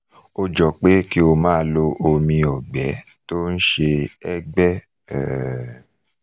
ó jọ pé kí o máa lo omi ọ̀gbẹ́ tó ń ṣe ẹ́gbẹ́ um